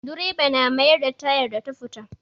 Direba na mayar da tayar da ta fita.